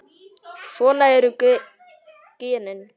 Svona eru genin.